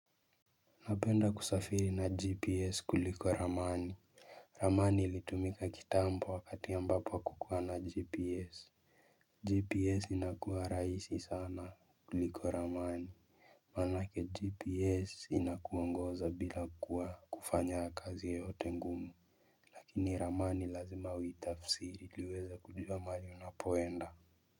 Napenda kusafiri na gps kuliko ramani. Ramani ilitumika kitambo wakati ambapo hakukuwa na gps GPS inakuwa rahisi sana kuliko ramani. Manake gps inakuongoza bila kuwa kufanya kazi yeyote ngumu. Lakini ramani lazima uitafsiri ili uweze kufika mahali unapoenda.